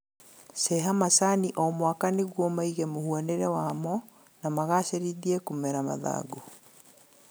Ceha macani o mwaka nĩguo maige mũhanĩre wamo na magacĩrithie kũmera mathangũ